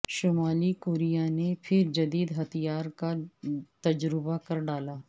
شمالی کوریا نے پھرجدید ہتھیار کا تجربہ کر ڈالا